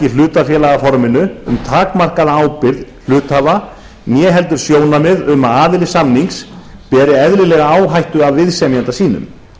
hlutafélagaforminu um takmarkaða ábyrgð hluthafa né heldur sjónarmið um að aðili samnings beri eðlilega áhættu af viðsemjanda sínum